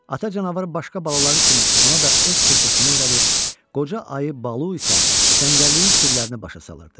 Ata canavar başqa balaları kimi ona da öz peşəsini öyrədir, qoca ayı Balu isə cəngəlliyin sirlərini başa salırdı.